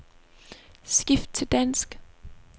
Skift til dansk.